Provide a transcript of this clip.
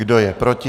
Kdo je proti?